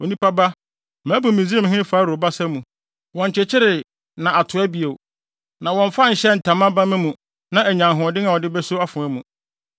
“Onipa ba, mabu Misraimhene Farao basa mu. Wɔnkyekyeree, na atoa bio; na wɔmfa nhyɛɛ ntama bamma mu na anya ahoɔden a ɔde beso afoa mu.